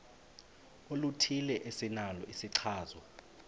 oluthile esinalo isichazwa